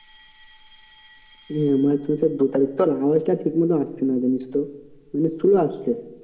হ্যাঁ march মাসের দু তারিখ, তোর আওয়াজটা ঠিক মতো আসছে না জানিস তো মানে slow আসছে।